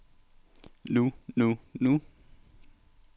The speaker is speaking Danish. nu nu nu